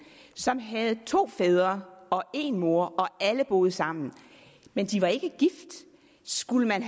som havde to fædre og en mor og alle boede sammen men de var ikke gift skulle man